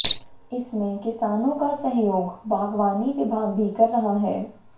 इसमें किसानों का सहयोग बागवानी विभाग भी कर रहा है